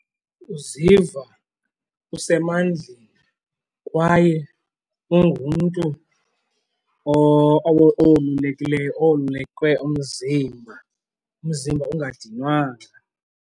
Uziva usemandleni kwaye ungumntu owolulekileyo owolulekwe umzimba, umzimba ungadinwanga.